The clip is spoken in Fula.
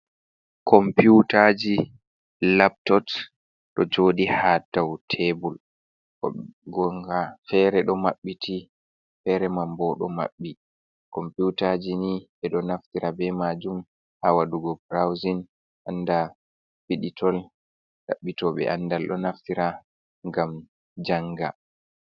Komputaji laptot ɗo jodi ha dau tebul, ngon'ngaa fere do mabbiti, fere man bo ɗo maɓɓi, komputaji ni ɓe ɗo naftira ɓe majum ha wadugo brauzin anda fiditol. Ɗaɓɓito ɓe andal ɗo naftira ngam janga.